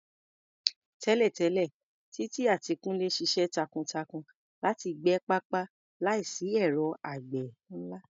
Tẹ́lẹ̀tẹ́lẹ̀, Titi àti Kunle ṣiṣẹ́ takuntakun láti gbẹ pápá láìsí ẹ̀rọ àgbẹ̀ ńlá.